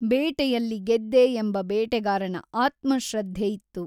ಬೇಟೆಯಲ್ಲಿ ಗೆದ್ದೆ ಎಂಬ ಬೇಟೆಗಾರನ ಆತ್ಮಶ್ರದ್ಧೆ ಇತ್ತು.